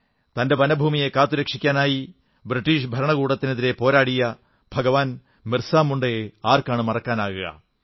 തന്റെ വനഭൂമിയെ കാത്തു രക്ഷിക്കാനായി ബ്രിട്ടീഷ് ഭരണകൂടത്തിനെതിരെ പോരാടിയ ഭഗവാൻ മിർസാ മുണ്ടയെ ആർക്കാണു മറക്കാനാകുക